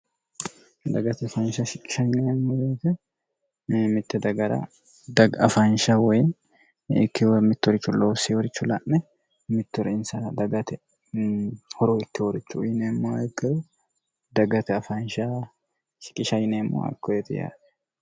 dagate faansha shiemmoeete mitte dagara dagaafaansha woyii ikkiwa mittorichu lo siworichu la'me mittori insra dagate horo ikki worichu uyineemma heggeru dagate afaansha kiqishaineemmo akko yeti yaare